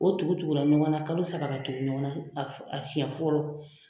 O tugu tugula ɲɔgɔn na kalo saba ka tugu ɲɔgɔn na a siɲɛ fɔlɔ.